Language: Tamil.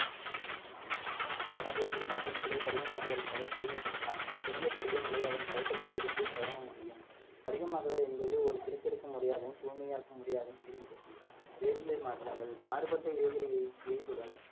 எனவே திண்ம பொருட்களை படிகமாக்குதலின் மூலம் தூய்மைப்படுத்தலாம் பெரிய படிகங்களை அதன் கரைசல்களில் இருந்து பெறவும் முடியும் படிகமாகுதல் என்பது ஒரு பிரித்தெடுக்கும் முறையாகவும் தூய்மையாக்கும் முறையாகவும் திகழ்கிறது வேதியியல் மாற்றங்கள் மாறுபட்ட வேதியலை